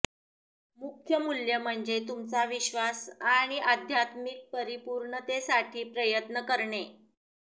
मुख्य मूल्य म्हणजे तुमचा विश्वास आणि आध्यात्मिक परिपूर्णतेसाठी प्रयत्न करणे